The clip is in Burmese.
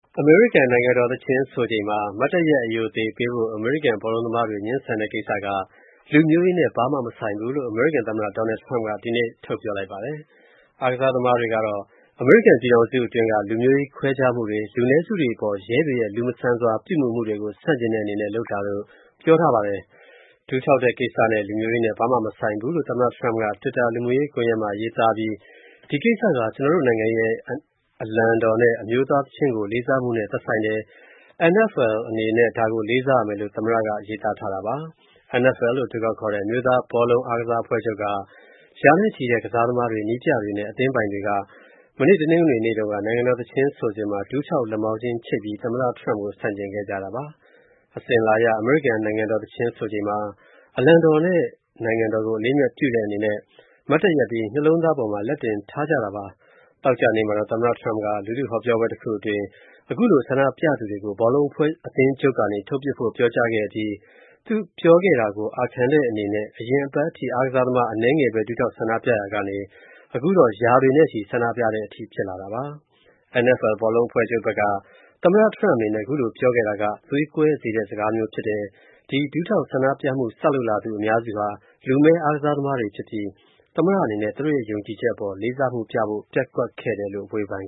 အမေရိကန် နိုင်ငံတော် သီချင်းဆိုချိန်မှာ မတ်တပ်ရပ် အရိုအသေပေးဖို့ အမေရိကန် ဘောလုံးသမားတွေ ငြင်းဆန်တဲ့ ကိစ္စက လူမျိုးရေးနဲ့ ဘာမှမဆိုင်ဘူးလို့ အမေရိကန် သမ္မတ Donald Trump က ဒီကနေ့ ပြောဆိုလိုက်ပါတယ်။ အားကစားသမားတွေကတော့ အမေရိကန် ပြည်ထောင်စု အတွင်းက လူမျိုးရေးခွဲခြားမှုတွေ၊ လူနည်းစုတွေအပေါ် ရဲတွေရဲ့ လူမဆန်စွာ ပြုမူမှုတွေကို ဆန့်ကျင်တဲ့ အနေနဲ့ လုပ်တာလို့ ပြောဆိုကြတာပါ။ ဒူးထောက်တဲ့ ကိစ္စနဲ့ လူမျိုးရေးနဲ့ ဘာမှ မဆိုင်ဘူးလို့ သမ္မတ Trump က တွစ်တာ လူမှုကွန်ယက်မှာ ရေးသားပြီး ဒီကိစ္စက ကျနော်တို့ရဲ့ နိုင်ငံ၊ အလံတော်နဲ့ အမျိုးသား သီချင်းကို လေးစားမှုနဲ့ သက်ဆိုင်တယ်။ NFL အနေနဲ့ ဒါကို လေးစားရမယ်လို့ သမ္မတက ရေးသားတာပါ။ NFL လို့ အတိုကောက်ခေါ်တဲ့ အမျိုးသားဘောလုံးအားကစားအဖွဲ့ချုပ်က ရာနဲ့ချီတဲ့ ကစားသမားတွေ၊ နည်းပြတွေနဲ့ အသင်းပိုင်တွေက မနေ့ တနင်္ဂနွေနေ့တုန်းက နိုင်ငံတော်သီချင်း ဆိုစဉ်မှာ ဒူးထောက်၊ လက်မောင်းချင်းချိတ်ပြီး သမ္မတ Trump ကို ဆန့်ကျင်ခဲ့ကြတာပါ။ အစဉ်အလာအရ အမေရိကန် နိုင်ငံတော် သီချင်းဆိုချိန်မှာ အလံတော်နဲ့ နိုင်ငံတော်ကိုအလေးအမြတ်ပြုတဲ့ အနေနဲ့ မတ်တပ်ရပ်ပြီး နှလုံးသားပေါ်မှာ လက်တင်ထားကြတာပါ။ သောကြာနေ့မှာတော့ သမ္မတ Trump က လူထုဟောပြောပွဲတခုအတွင်း ခုလိုဆန္ဒပြသူတွေကို ဘောလုံးအဖွဲ့အသင်းချုပ်ကနေ ထုတ်ပစ်ဖို့ပြောကြားခဲ့အပြီး သူပြောခဲ့တာကို အာခံတဲ့အနေနဲ့ အရင်အပတ်ထိ အားကစားသမားအနည်းငယ်ပဲ ဒူးထောက်ဆန္ဒပြရာကနေ အခုတော့ ရာတွေနဲ့ချီ ဆန္ဒပြတဲ့အထိ ဖြစ်လာတာပါ။ NFL ဘောလုံးအဖွဲ့ချုပ်ဘက်က သမ္မတ Trump အနေနဲ့ ခုလိုပြောခဲ့တာက သွေးကွဲစေတဲ့ စကားမျိုး ဖြစ်တယ်၊ ဒီဒူးထောက်ဆန္ဒပြမှု စလုပ်လာသူ အများစုဟာ လူမည်း အားကစားသမားတွေ ဖြစ်ပြီး၊ သမ္မတအနေနဲ့ သူတို့ရဲ့ ယုံကြည်ချက်အပေါ် လေးစားမှုပြဖို့ ပျက်ကွက်ခဲ့တယ်လို့ ဝေဖန်